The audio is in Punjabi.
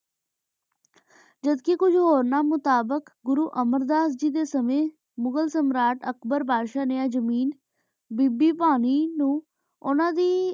ਜਬ ਕੀ ਕੁਜ ਹੋਰਾਂ ਡੀਨ ਮੁਤਾਬਿਕ ਘੁਰੁ ਅਮੇਰ ਦਸ ਜੇਵ੍ਯਨ ਸੰਯੰ ਮੁਗ੍ਹਰ ਸਮ੍ਰਾਟ ਅਕਬਰ ਬਾਦਸ਼ ਨੀ ਆਯ ਜ਼ਮੀਨ ਬੀਬੀ ਪਾਣੀ ਨੂੰ ਉਨਾ ਦੇ